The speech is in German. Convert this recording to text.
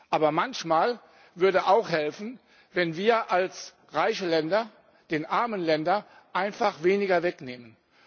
Aber manchmal würde es auch helfen, wenn wir als reiche Länder den armen Ländern einfach weniger wegnähmen.